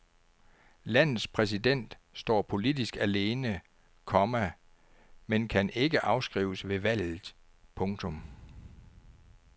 Landets præsident står politisk alene, komma men kan ikke afskrives ved valget. punktum